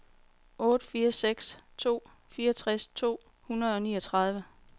otte fire seks to fireogtres to hundrede og niogtredive